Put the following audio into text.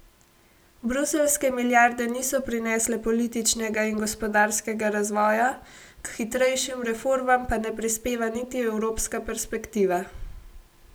Bruseljske milijarde niso prinesle političnega in gospodarskega razvoja, k hitrejšim reformam pa ne prispeva niti evropska perspektiva.